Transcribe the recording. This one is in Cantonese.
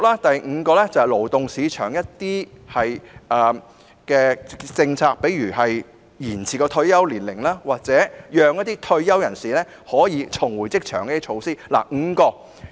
第五支柱是勞動市場政策，例如延遲國民退休年齡或協助退休人士重返職場的措施。